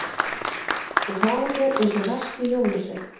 Þú hagar þér eins og versti jólasveinn.